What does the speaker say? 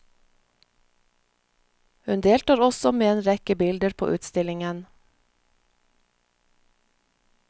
Hun deltar også med en rekke bilder på utstillingen.